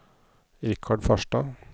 Richard Farstad